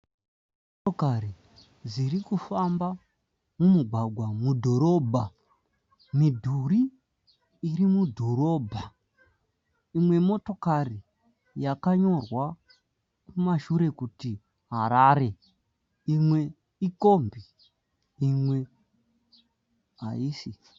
Motokari dziri kufamba mumugwagwa mudhorobha. Midhuri iri mudhorobha. Imwe motokari yakanyorwa kumashure kuti Harare. Imwe ikombi imwe haisi.